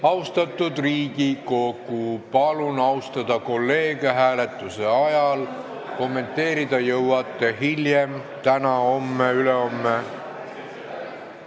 Austatud Riigikogu, palun austada kolleege hääletuse ajal, kommenteerida jõuate hiljem: täna, homme, ülehomme.